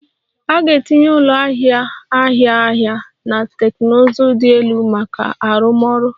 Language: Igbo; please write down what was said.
A ga-etinye ụlọ ahịa ahịa ahịa na teknụzụ dị elu maka arụmọrụ